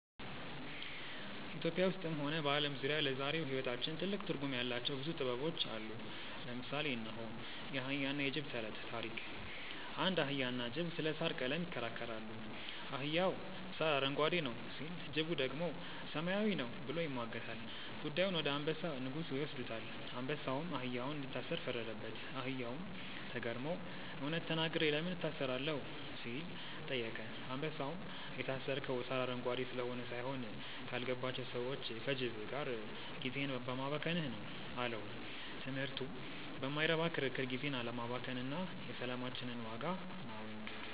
ኢትዮጵያ ውስጥም ሆነ በዓለም ዙሪያ ለዛሬው ሕይወታችን ትልቅ ትርጉም ያላቸው ብዙ ጥበቦች አሉ። ለምሳሌ እነሆ፦ የአህያና የጅብ ተረት (ታሪክ) አንድ አህያና ጅብ ስለ ሣር ቀለም ይከራከራሉ። አህያው "ሣር አረንጓዴ ነው" ሲል፣ ጅቡ ደግሞ "ሰማያዊ ነው" ብሎ ይሟገታል። ጉዳዩን ወደ አንበሳ (ንጉሡ) ይወስዱታል። አንበሳውም አህያውን እንዲታሰር ፈረደበት። አህያውም ተገርሞ "እውነት ተናግሬ ለምን እታሰራለሁ?" ሲል ጠየቀ። አንበሳውም "የታሰርከው ሣር አረንጓዴ ስለሆነ ሳይሆን፣ ካልገባቸው ሰዎች (ከጅብ) ጋር ጊዜህን በማባከንህ ነው" አለው። ትምህርቱ በማይረባ ክርክር ጊዜን አለማባከን እና የሰላማችንን ዋጋ ማወቅ።